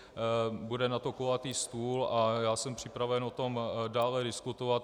Bude na to kulatý stůl a já jsem připraven o tom dále diskutovat.